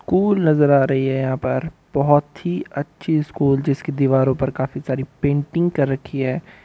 School नजर आ रही हैं यहाँ पर बहुत ही अच्छी स्कूल जिसकी दीवारों पर काफी सारी पेन्टिंग कर रखी हैं।